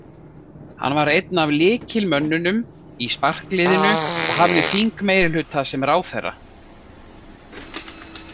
Hann var einn af lykilmönnunum í sparkliðinu og hafði þingmeirihluta sem ráðherra.